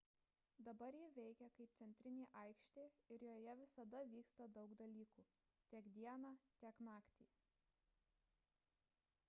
dabar ji veikia kaip centrinė aikštė ir joje visada vyksta daug dalykų tiek dieną tiek naktį